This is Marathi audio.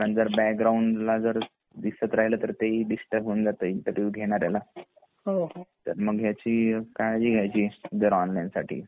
कारण जर बॅकग्राऊंड ला दिसत राहील तर ते ही डिस्टर्ब होऊन जातं इंटरव्ह्यु घेणाऱ्याला तर मग ह्याची काळजी घ्यायची ऑनलाइन साठी